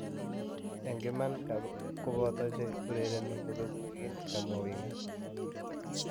�en iman komapato che urerieni kobegu wigini,� kamwaa Wenga.